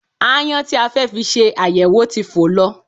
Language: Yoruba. Aáyán tí a fẹ́ fi ṣe àyẹ̀wò ti fò lọ